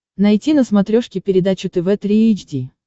найти на смотрешке передачу тв три эйч ди